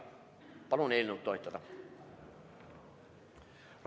Palun eelnõu toetada!